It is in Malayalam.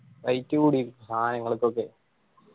rate കൂടി സാനങ്ങൾക്കൊക്കെ.